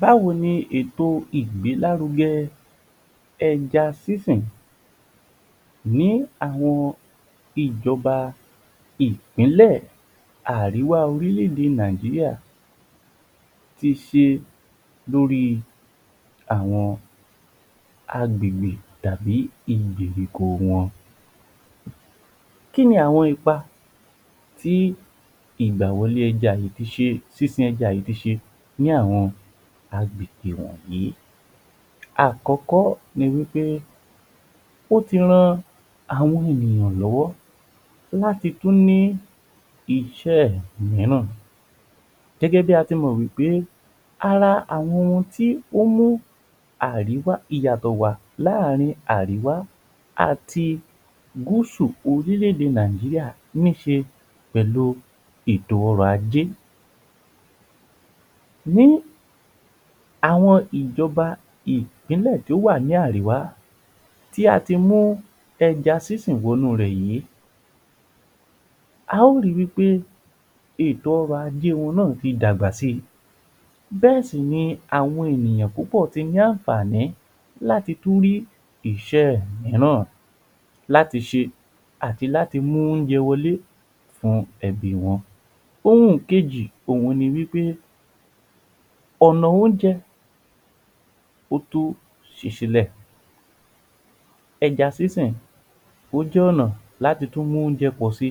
Báwo ni èto ìgbẹ́lárugẹ ẹja sísìn ni àwọn ìjọ́ba ìpínlẹ̀ àríwá orílé-ède Nàìjíríà ti ṣe lórí àwọn agbègbè tàbí um wọn, Kí ni àwọn ipa tí ìgbàwọlé ẹja yìí, sísìn ẹja yìí tí ṣe ní àwọn agbègbè wọ̀nyìí. Àkọ́kọ́ ni wí pé ó ti ran àwọn ènìyàn lọ́wọ́ láti tún ní iṣẹ́ mìíràn gẹ́gẹ́ bí a ti mọ̀ wí pé ara àwọn ohun tí ó mú àríwá ìyàtọ̀ wà láàárín àríwá àti gúúsù orílé-ède Nàìjíríà ní ṣe pẹ̀lú ètò ọrọ̀ ajé. Ní àwọn ìjọ́ba ìpínlẹ̀ tí ó wà ní àríwá tí a ti mú ẹja sísìn wọnú rẹ̀ yìí, a ó ri wí pé ètò ọrọ̀ ajé wọn náà ti dàgbà si bẹ́ẹ̀ sì ni àwọn ènìyàn púpọ̀ ti ní àǹfààní láti tún rí iṣẹ́ mìíràn láti ṣe àti láti mú oúnjẹ wọlé fún ẹbí wọn. Ohun kejì òhun ni wí pé ọ̀nà oúnjẹ ó tó ṣì sílẹ̀, ẹja sísìn ó jẹ́ ọ̀nà láti tún mú oúnjẹ pọ̀ si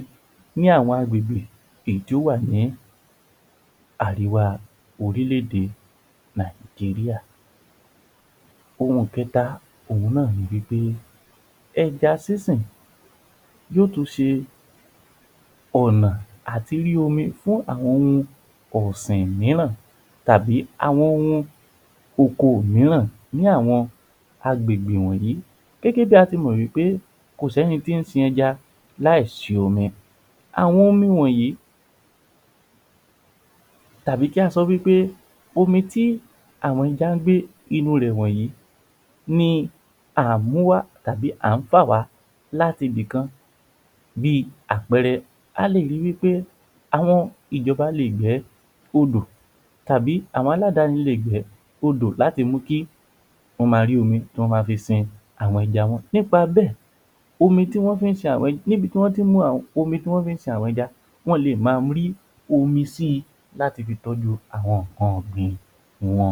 ni àwọn agbègbè èyí tí ó wà ní àríwá orílé-èdè Naijiria. Ohun kẹta, ohun náà ni wí pé ẹja sísìn yóò tún ṣe ọ̀nà àtírí omi fún àwọn ohun ọ̀sìn mìíràn, tàbí àwọn ohun oko mìíràn ní àwọn agbègbè wọ̀nyìí, gẹ́gẹ́ bí a ti mọ̀ pé kò sí ẹnì tí ń sin ẹja láìsí omi. Àwọn omi wọ̀nyìí tàbí kí a sọ wí pé omi tí àwọn ẹja ń gbé inú wọn wọ̀nyìí ni à ń múwá tàbí à ń fà wá láti ibi kan bí àpẹẹrẹ a lè ri wí pé àwọn ìjọ́ba lè gbé odò tàbí àwọn aláàdáni lè gbé odò láti mú ki wọn ma rí omi tí wọn ma fi sin àwọn ẹja wọ̀nyìí nípa bẹ́ẹ̀ omi tí wọ́n ń fí ń sin um àwọn ẹja wọ́n le ma rí omi si láti fi tọ́jú àwọn nǹkan ọ̀gbìn wọn